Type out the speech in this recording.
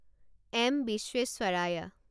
M বিশ্বেশ্বৰায়া